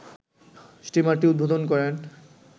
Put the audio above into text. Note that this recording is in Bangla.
স্টিমারটি উদ্বোধন করেন